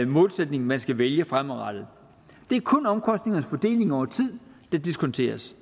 målsætning man skal vælge fremadrettet det er kun omkostningernes fordeling over tid der diskonteres